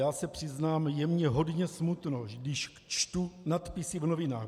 Já se přiznám, je mi hodně smutno, když čtu nadpisy v novinách.